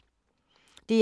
DR1